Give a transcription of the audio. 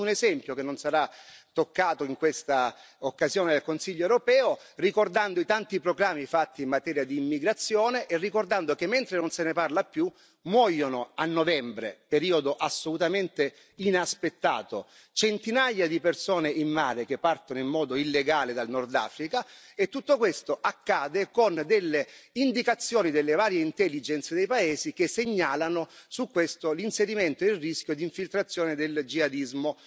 Chiudo con un esempio, che non sarà toccato in questa occasione dal Consiglio europeo, ricordando i tanti proclami fatti in materia di immigrazione e ricordando che, mentre non se ne parla più, muoiono a novembre periodo assolutamente inaspettato centinaia di persone in mare che partono in modo illegale dal Nord Africa, e tutto questo accade con delle indicazioni delle varie intelligenc e dei paesi, che segnalano su questo l'inserimento e il rischio di infiltrazione del jihadismo.